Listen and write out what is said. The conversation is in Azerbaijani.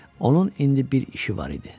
Onun indi bir işi var idi.